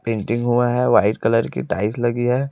Painting हुआ है white colour की टाइल्स लगी है।